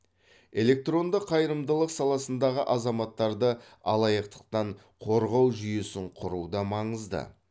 электронды қайырымдылық саласындағы азаматтарды алаяқтықтан қорғау жүйесін құру да маңызды